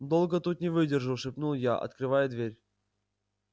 долго тут не выдержу шепнул я открывая дверь